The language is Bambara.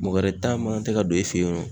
Mɔgɔ wɛrɛ ta magan tɛ ka don e fe yen nɔ